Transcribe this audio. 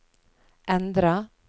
endra